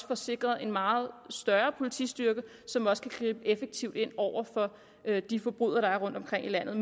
får sikret en meget større politistyrke som også kan gribe effektivt ind over for de forbrydere der er rundtomkring i landet